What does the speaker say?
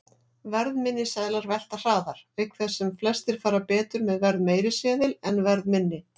Verðminni seðlar velta hraðar, auk þess sem flestir fara betur með verðmeiri seðil en verðminni.